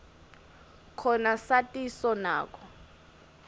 khona satiso nako